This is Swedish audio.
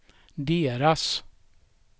deras